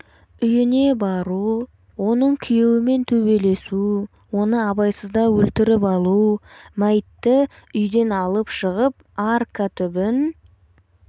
үйіне бару оның күйеуімен төбелесу оны абайсызда өлтіріп алу мәйітті үйден алып шығып арка түбін